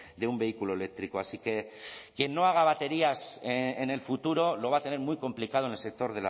de un vehículo eléctrico así que quien no haga baterías en el futuro lo va a tener muy complicado en el sector